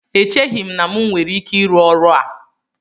Echeghị m na m nwere ike ịrụ ọrụ a